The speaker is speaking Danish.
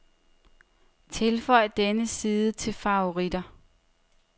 Tilføj denne side til favoritter.